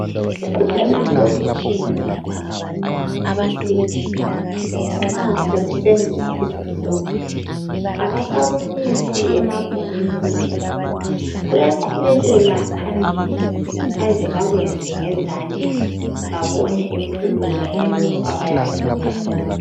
Emakolitshini Kanye lasema university, nxa sekusenzwa isifundo abasakumisi emabhukwini kuphela. Kuyaqhubekela phambili baze bakwenze ngezandla. Babone impumela yalokho abayabe bekufunda.